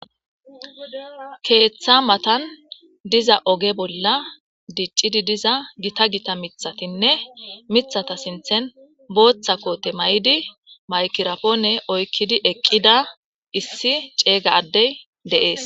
Keeththa matan diza oge bolla diccidi diza gita gita mithatinne mithata sinthen booththa koote ma'idi maykirapoone oykkidi eqqida issi ceega addey de7ees.